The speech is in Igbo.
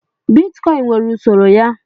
Bitkọịn nwere usoro ya.